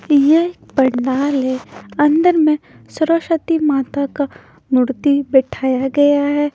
यह पंडाल है अंदर में सरस्वती माता का मूर्ति बैठाया गया है।